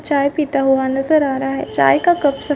चाय पीता हुआ नजर आ रहा है चाय का कबसा।